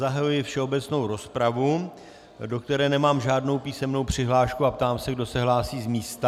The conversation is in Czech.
Zahajuji všeobecnou rozpravu, do které nemám žádnou písemnou přihlášku, a ptám se, kdo se hlásí z místa.